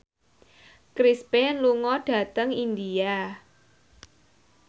Chris Pane lunga dhateng India